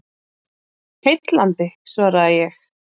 Heillandi svaraði ég.